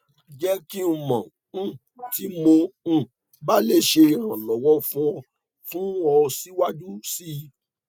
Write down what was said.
jẹ ki n mọ um ti mo um ba le ṣe iranlọwọ fun ọ fun ọ siwaju sii